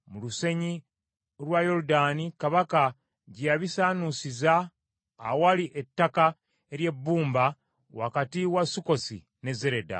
Kabaka yalagira babisaanuusize mu lusenyi lwa Yoludaani, awali ettaka ery’ebbumba wakati w’e Sukkosi n’e Zereda.